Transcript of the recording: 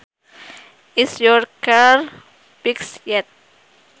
Is your car fixed yet